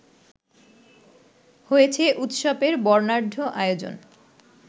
হয়েছে উৎসবের বর্ণাঢ্য আয়োজন